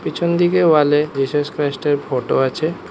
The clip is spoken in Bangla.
পিছনদিকে ওয়াল এ জিসাস ক্রাইস্ট এর ফোটো আছে।